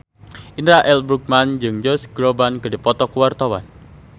Indra L. Bruggman jeung Josh Groban keur dipoto ku wartawan